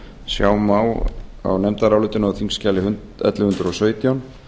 sjá má á nefndarálitinu á þingskjali ellefu hundruð og sautján